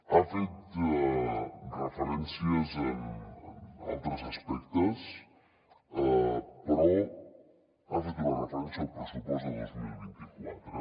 ha fet referències a altres aspectes però ha fet una referència al pressupost de dos mil vint quatre